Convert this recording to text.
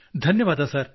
ಧನ್ಯವಾದ ಸರ್